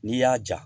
N'i y'a ja